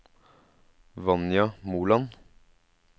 Vanja Moland